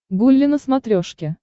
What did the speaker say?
гулли на смотрешке